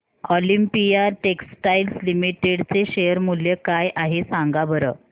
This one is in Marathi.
ऑलिम्पिया टेक्सटाइल्स लिमिटेड चे शेअर मूल्य काय आहे सांगा बरं